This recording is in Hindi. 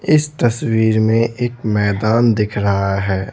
इस तस्वीर में एक मैदान दिख रहा है।